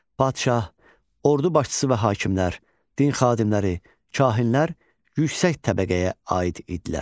Padşah, ordu başçısı və hakimlər, din xadimləri, kahinlər yüksək təbəqəyə aid idilər.